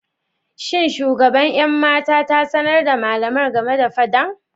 Shin shugaban 'yan mata ta sanar da malamar game da fadan?